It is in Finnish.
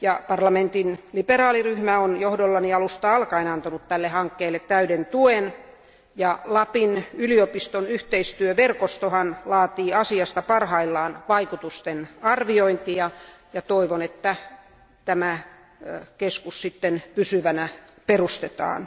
Parlamentin liberaaliryhmä on johdollani alusta alkaen antanut tälle hankkeelle täyden tuen, ja Lapin yliopiston yhteistyöverkostohan laatii asiasta parhaillaan vaikutustenarviointia, ja toivon, että tämä keskus sitten pysyvänä perustetaan.